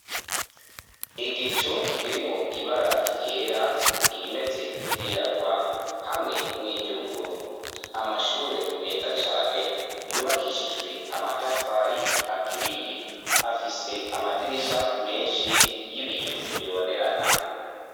Igicu kirimwo ibara ryera, irimeze nk'iryirabura hamwe n'iryubururu, amashure meza cane yubakishijwe amatafari aturiye, afise amadirisha menshi y'ibiyo bibonerana.